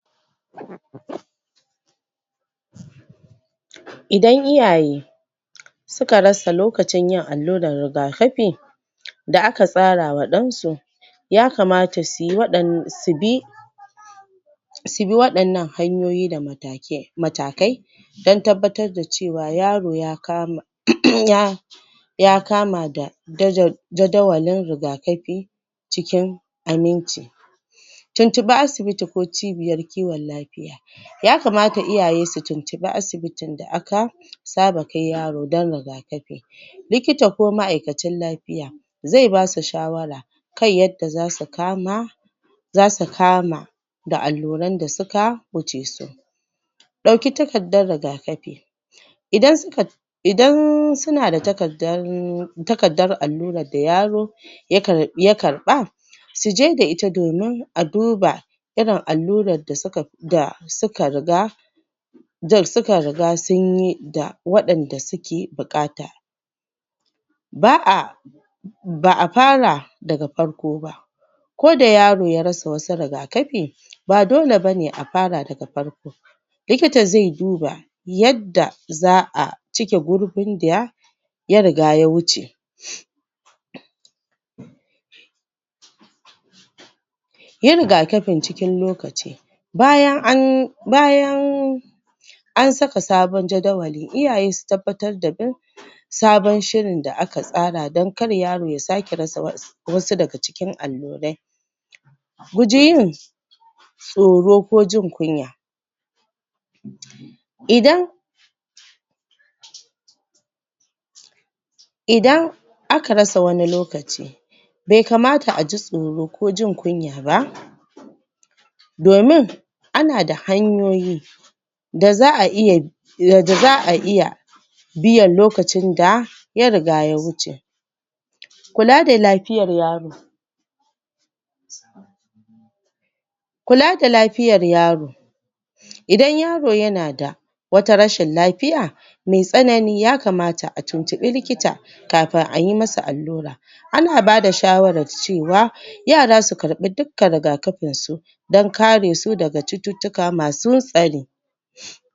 Idan Iyaye suka rasa lokacin yin allurar rigakafi da aka tsarawa ɗan su yakamata suyi waɗan su bi su bi waɗannan hanyoyi da matake matakai dan tabbatar da cewa yaro ya kama um ya ya kama da daja dajawalin rigakafi cikin aminci tuntubi asibiti ko cibiyar kiwon lafiya yakamata iyaye su tuntubi asibita da aka saba kai yaro dan rigakafi likita ko ma'aikacin lafiya zai basu shawara kan yadda zasu kama zasu kama da alluran da suka wuce su ɗauki takardar rigakafi idan suka idan suna da takardar takardar allurar da yaro ya kar ya karɓa suje da ita domin a duba irin allurar da suka fi da suka riga suka riga sunyi da waɗanda suka buƙata ba'a ba'a fara daga farko ba koda yaro ya rasa wasu rigakafi ba dole bane a fara daga farko likita zai duba yada za'a cike gurbin da ya riga ya wuce yi rigakafin cikin lokaci bayan an, bayan an saka sabon jadawali, Iyaye su tabbatar da bin sabon shirin da aka tsara dan kar yaro ya sake rasa wasu wasu daga cikin allurai guji yin tsoro ko jin kunya idan idan aka rasa wani lokaci bai kamata aji tsoro ko jin kunya ba domin ana da hanyoyi da za'a iya da za'a iya biyan lokacin da ya riga ya wuce kula da lafiyar yaro kula da lafiyar yaro idan yaro yana da wata rashin lafiya mai tsanani, yakamata a tuntubi likita kafin ayi masa allura ana bada shawar cewa yara su kaɓi duk ka rigakafin su dan kare su daga cututtuka masu tsari